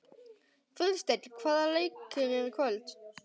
Friðsteinn, hvaða leikir eru í kvöld?